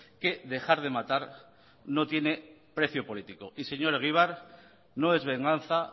que dejar de matar no tiene precio político y señor egibar no es venganza